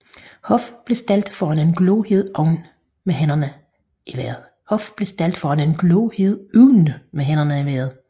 Hoff blev stillet foran en glohed ovn med hænderne i vejret